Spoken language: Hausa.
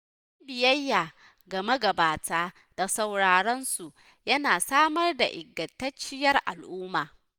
Yin biyayya ga magabata da sauraron su, yana samar da ingantacciyar al'umma.